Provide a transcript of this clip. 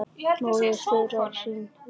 móðir þeirra hrín við hátt